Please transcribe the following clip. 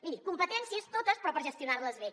miri competències totes però per gestionar les bé